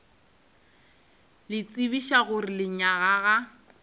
le tsebiša gore lenyaga ga